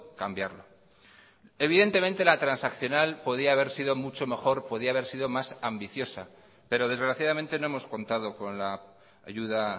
cambiarlo evidentemente la transaccional podía haber sido mucho mejor podía haber sido más ambiciosa pero desgraciadamente no hemos contado con la ayuda